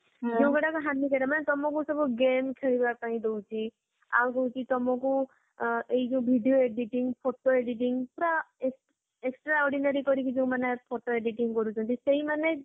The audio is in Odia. ଯୋଊ ଗୁରକ ହାନିକରକ ମାନେ ତମକୁ ସବୁ game ଖେଳିବା ପାଇଁ ଦଉଛି ଆଉ ଦଉଛି ତମକୁ ଆଁ ଏଇ ଯୋଊ video editing, photo editing ପୁରା extra extra ordinary କରିକି ଯୋଊମାନେ editing କରୁଛନ୍ତି ସେଇମାନେ